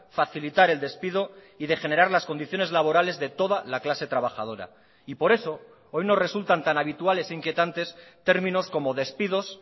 facilitar el despido y degenerar las condiciones laborales de toda la clase trabajadora y por eso hoy nos resultan tan habituales inquietantes términos como despidos